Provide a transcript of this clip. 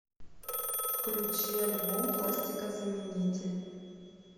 включи альбом пластикозамени тель